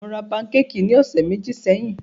Mó rá pankékì ní ọ̀sẹ̀ méjì sẹ́yìn.